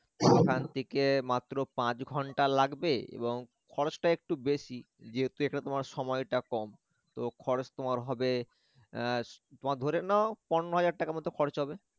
এখান থেকে মাত্র পাঁচ ঘন্টা লাগবে এবং খরচটা একটু বেশি যেহেতু এটা তোমার সময়টা কম তো খরচ তোমার হবে এর তোমার ধরে নেও পনরো হাজার টাকার মতন খরচ হবে